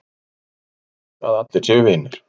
Ímyndum okkur að allir séu vinir.